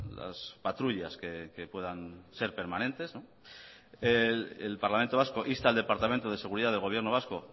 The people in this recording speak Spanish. las patrullas que puedan ser permanentes el parlamento vasco insta al departamento de seguridad del gobierno vasco